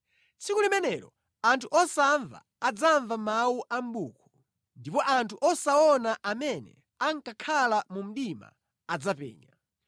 Tsiku limenelo anthu osamva adzamva mawu a mʼbuku, ndipo anthu osaona amene ankakhala mu mdima adzapenya.